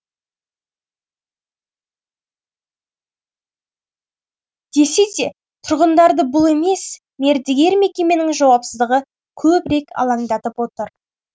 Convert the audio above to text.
десе де тұрғындарды бұл емес мердігер мекеменің жауапсыздығы көбірек алаңдатып отыр